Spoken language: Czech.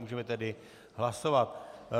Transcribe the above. Můžeme tedy hlasovat.